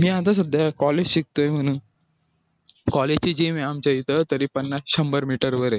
मी आता सध्या college शिकतोय म्हणून college ची gym हे आमच्या इथं तरी पन्नास शंभर मीटरवर